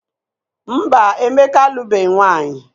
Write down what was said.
Mba, Emeka alụbeghị nwaanyị.